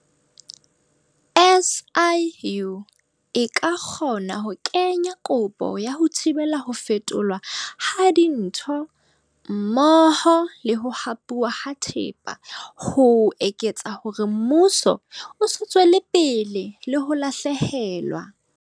SIU e ka kgona ho kenya kopo ya ho thibela ho fetolwa ha dintho mmoho le ho hapuwa ha thepa ho etsetsa hore mmuso o se tswele pele le ho lahlehelwa.